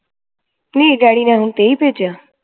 ਨੀ daddy ਨੇ ਹੁਣ ਤੇਈ ਭੇਜਿਆ